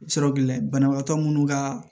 Sɔrɔ gɛlɛbaatɔ minnu ka